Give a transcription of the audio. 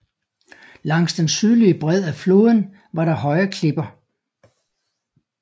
Langs den sydlige bred af floden var der høje klipper